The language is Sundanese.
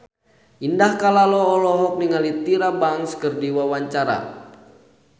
Indah Kalalo olohok ningali Tyra Banks keur diwawancara